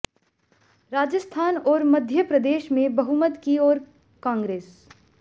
राजस्थान और मध्य प्रदेश में बहुमत की ओर कांग्रेस